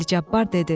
Əli Cabbar dedi: